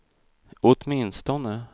åtminstone